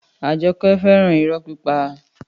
Àjọkẹ́ fẹ́ràn irọ́ pípa